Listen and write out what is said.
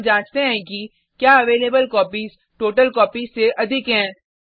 फिर हम जांचते हैं कि क्या अवेलेबल कॉपीज टोटलकॉपीज से अधिक हैं